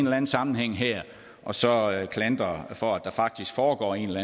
anden sammenhæng her og så klandre for at der faktisk foregår en eller